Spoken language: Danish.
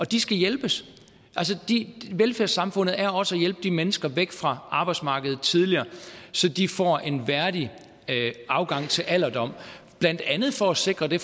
de skal hjælpes velfærdssamfundet er også at hjælpe de mennesker væk fra arbejdsmarkedet tidligere så de får en værdig afgang til alderdommen blandt andet for at sikre det